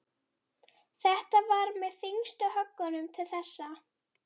Þetta var með þyngstu höggunum til þessa.